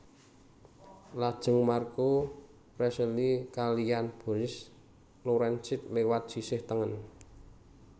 Lajeng Marko Prezelj kaliyan Boris Lorencic lewat sisih tengen